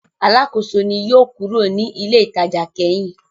Alákòóso ni yóò kúrò ní ilé-ìtajà kẹ́yìn.